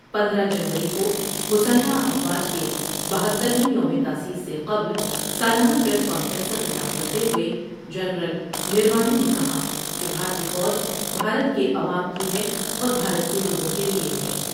پندرہ جنوری کو مسلح افواج کے بہتر ویں یوم تاسیس سے قبل سالا نہ پریس کانفرنس سے خطاب کرتے ہوۓ جنرل نروانے نے کہا کہ بھارتی فوج بھارت کے عوام کی ہے اور بھارت کے لوگوں کے لئے ہے ۔